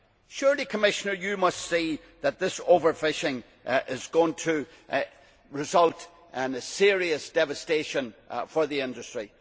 Surely, Commissioner, you must see that this overfishing is going to result in serious devastation for the industry?